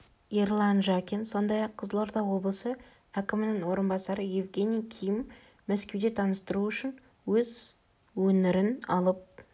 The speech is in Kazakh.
ерлан жакин сондай-ақ қызылорда облысы әкімінің орынбасары евгений ким мәскеуде таныстыру үшін өз өңірінен алып